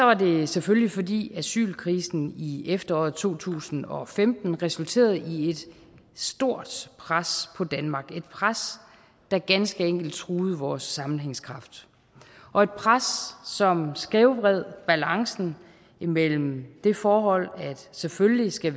var det selvfølgelig fordi asylkrisen i efteråret to tusind og femten resulterede i et stort pres på danmark et pres der ganske enkelt truede vores sammenhængskraft og et pres som skævvred balancen imellem det forhold at vi selvfølgelig skal